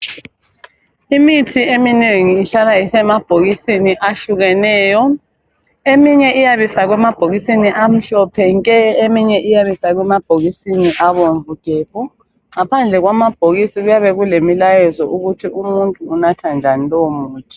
Imithi eminengi ihlala isemabhokisini ahlukeneyo. Eminye iyabe ifakwe emabhokisini amhlophe nke, eminye ifakwe amabhokisini abomvu gebhu. Ngaphandle kwamabhokisi kuyabe kulemlayezo ukuthi umuntu unatha njani lowo muthi.